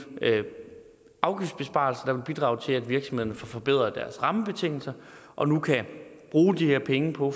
afgiftsbesparelser der vil bidrage til at virksomhederne får forbedret deres rammebetingelser og nu kan bruge de her penge på